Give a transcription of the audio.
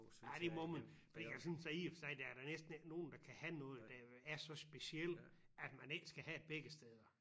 Ja det må man fordi jeg synes da i og for sig der er da næsten ikke nogen der kan have noget der er så specielt at man ikke skal have det begge steder